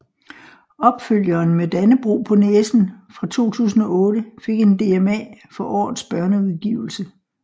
Opfølgeren Med Dannebrog på næsen fra 2008 fik en DMA for årets børneudgivelse